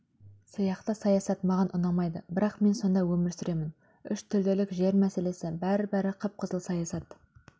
сияқты саясат маған ұнамайды бірақ мен сонда өмір сүремін үштілділік жер мәселесі бәрі-бәрі қып-қызыл саясат